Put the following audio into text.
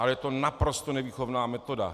Ale je to naprosto nevýchovná metoda!